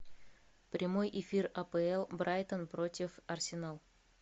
прямой эфир апл брайтон против арсенал